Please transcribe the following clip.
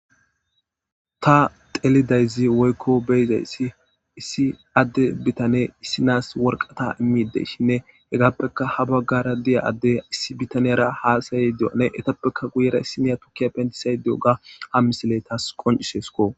Ta telidayzi woykko beyzaysi issi adde bitane issinaas worqata immide shinne hegappeka ha baggara di'a addey issi bitaniyara haasayi di'one etappeka guyera issimiya tukkiya pendisaydiyoga ha misiley taas qoncishesko